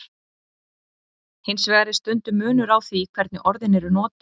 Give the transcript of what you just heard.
Hins vegar er stundum munur á því hvernig orðin eru notuð.